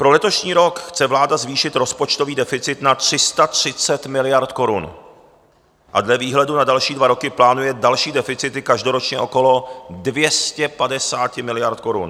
Pro letošní rok chce vláda zvýšit rozpočtový deficit na 330 miliard korun a dle výhledu na další dva roky plánuje další deficity každoročně okolo 250 miliard korun.